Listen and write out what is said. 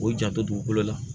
K'o janto dugukolo la